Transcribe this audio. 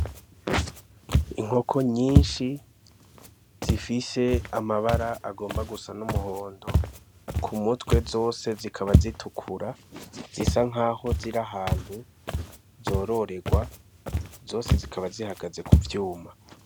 Inkoko nyinshi zifise amabara agomba gusa n'umuhondo ku mutwe zose zikaba zitukura zisa nk'aho ziri ahantu zororerwa zose zikaba zihagaze ku vyuma.